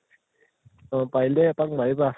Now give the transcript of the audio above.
অহ পাৰিলে এপাক মাৰিবা